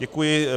Děkuji.